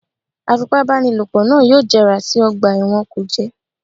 Afipábanílòpọ̀ náà yóò jẹrà sí ọgbà ẹ̀wọ̀n kùjé